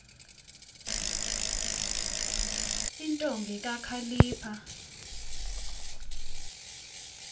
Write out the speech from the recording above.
nwa intombi kakhalipha